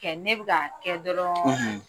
Kɛ ne bɛ ka kɛ dɔrɔɔɔn